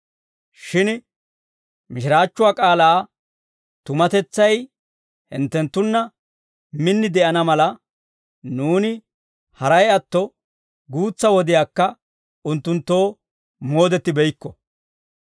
Shin mishiraachchuwaa k'aalaa tumatetsay hinttenttunna min de'ana mala, nuuni haray atto guutsa wodiyaakka unttunttoo moodettibeykko.